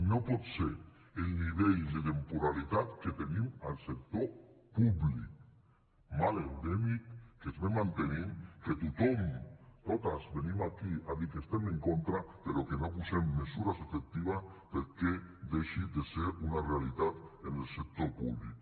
no pot ser el nivell de temporalitat que tenim al sector públic mal endèmic que es ve mantenint que tothom totes venim aquí a dir que estem en contra però que no posem mesures efectives perquè deixi de ser una realitat en el sector públic